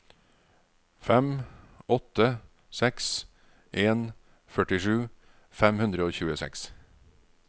fem åtte seks en førtisju fem hundre og tjueseks